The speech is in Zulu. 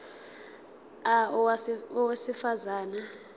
a owesifaz ane